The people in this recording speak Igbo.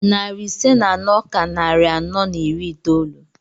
Narị ise na anọ ka narị anọ na iri itoolu.